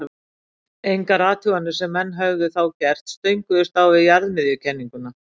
Engar athuganir sem menn höfðu þá gert stönguðust á við jarðmiðjukenninguna.